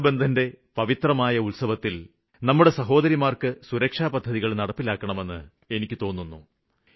രക്ഷാബന്ധന്റെ പവിത്രമായ ഉത്സവത്തില് നമ്മുടെ സഹോദരിമാര്ക്ക് സുരക്ഷാപദ്ധതികള് നടപ്പിലാക്കണമെന്ന് ഞാന് അഭ്യര്ത്ഥിച്ചിരുന്നു